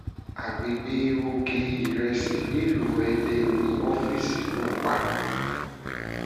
àgbègbè òkè-ìrẹsì nílùú èdè ni ọ́fíìsì náà wà